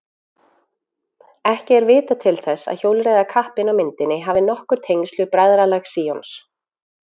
Ekki er vitað til þess að hjólreiðakappinn á myndinni hafi nokkur tengsl við Bræðralag Síons.